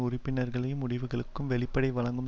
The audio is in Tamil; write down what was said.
உறுப்பினர்களை முடிவுகளுக்கும் வெளிப்படை வழங்கும்